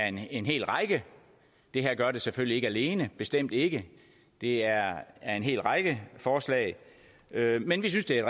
en hel række det her gør det selvfølgelig ikke alene bestemt ikke det er et af en hel række forslag men vi synes det er